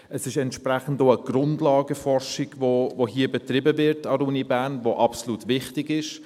Es ist entsprechend auch eine Grundlagenforschung, die absolut wichtig ist, die hier an der Uni Bern betrieben wird.